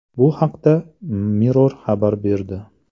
Bu haqda Mirror xabar berdi .